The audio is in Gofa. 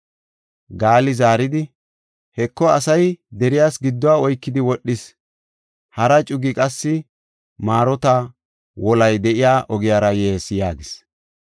Gaali zaaridi, “Heko, asay deriyas gidduwa oykidi wodhees; hara cugi qassi marota wolay de7iya ogiyara yees” yaagis.